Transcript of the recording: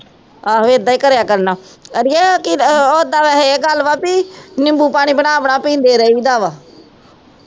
ਆਹ ਏਦਾਂ ਹੀ ਕਰੇਆ ਕਰਨਾ ਅੜੀਏ ਨਿਬੂ ਪਾਣੀ ਬਣਾ ਬਣਾ ਪੀਂਦੇ ਰਹੀ ਦਾ ਵਾ